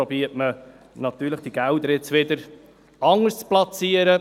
Dann versucht man natürlich, diese Gelder wieder anders zu platzieren.